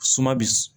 Suma bi